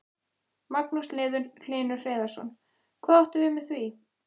Magnús Hlynur Hreiðarsson: Hvað áttu við með því?